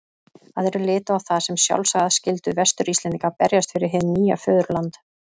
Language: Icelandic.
Aðrir litu á það sem sjálfsagða skyldu Vestur-Íslendinga að berjast fyrir hið nýja föðurland.